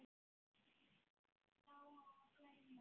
Lóa og Gunnar.